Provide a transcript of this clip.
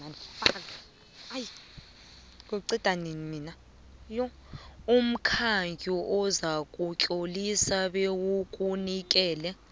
umkhandlu uzakutlolisa bewukunikele